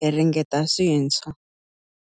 hi ringeta swintshwa.